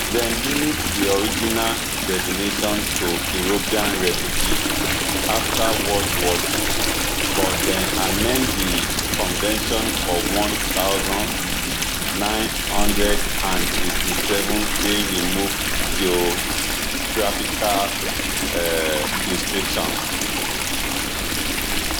dem limit di original definition to european refugees afta world war ii but dem amen di convention for one thousand, nine hundred and sixty-seven wey remove geographical um restrictions